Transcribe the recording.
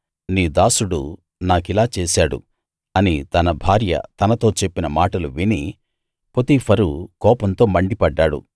నీ దాసుడు నాకిలా చేశాడు అని తన భార్య తనతో చెప్పిన మాటలు విని పొతీఫరు కోపంతో మండిపడ్డాడు